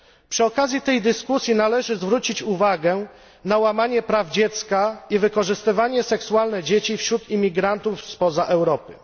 Przy okazji tej dyskusji należy zwrócić uwagę na łamanie praw dziecka i wykorzystywanie seksualne dzieci wśród imigrantów spoza Europy.